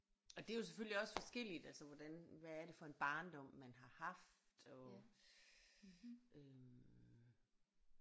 Og det er jo selvfølgelig også forskelligt altså hvordan hvad er det for en barndom man har haft og øh